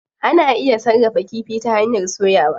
Ana iya sarrafa kifi ta hanyar soyawa.